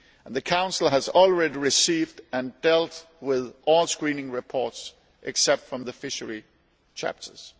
The Council has already received and dealt with all screening reports except those from the fishery chapters.